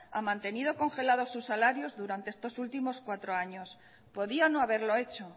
ha mantenido congelados sus salarios durante estos últimos cuatro años podía no haberlo hecho